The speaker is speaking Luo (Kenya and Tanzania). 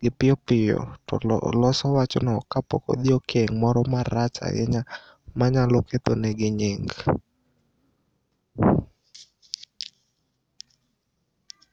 gi piyopiyo toloso wachno kapokodhi e keng' moro marach ainya manyalo kethonegi nying.